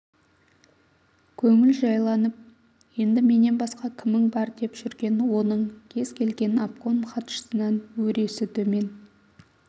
көңіл жайланып енді менен басқа кімің бар деп жүрген оның кез келген обком хатшысынан өресі төмен